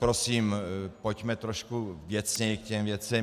Prosím, pojďme trošku věcněji k těm věcem.